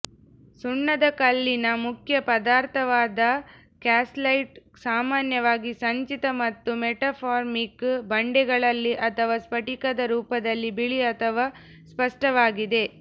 ಸುಣ್ಣದಕಲ್ಲಿನ ಮುಖ್ಯ ಪದಾರ್ಥವಾದ ಕ್ಯಾಲ್ಸೈಟ್ ಸಾಮಾನ್ಯವಾಗಿ ಸಂಚಿತ ಮತ್ತು ಮೆಟಾಮಾರ್ಫಿಕ್ ಬಂಡೆಗಳಲ್ಲಿ ಅದರ ಸ್ಫಟಿಕದ ರೂಪದಲ್ಲಿ ಬಿಳಿ ಅಥವಾ ಸ್ಪಷ್ಟವಾಗಿದೆ